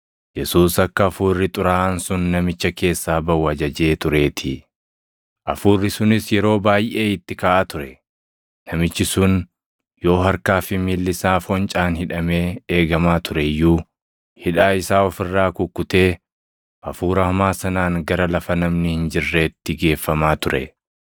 Yesuus akka hafuurri xuraaʼaan sun namicha keessaa baʼu ajajee tureetii. Hafuurri sunis yeroo baayʼee itti kaʼaa ture; namichi sun yoo harkaa fi miilli isaa foncaan hidhamee eegamaa ture iyyuu, hidhaa isaa of irraa kukkutee, hafuura hamaa sanaan gara lafa namni hin jirreetti geeffamaa ture.